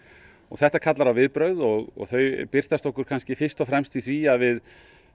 þetta kallar á viðbrögð og þau birtast okkur kannski fyrst og fremst í því að við